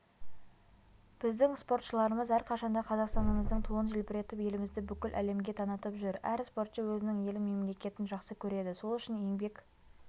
біздің спортшыларымыз әрқашанда қазақстанымыздың туын желбіретіп елімізді бүкіл әлемге танытып жүр әр спортшы өзінің елін мемлекетін жақсы көреді сол үшін еңбек